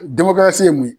ye mun ye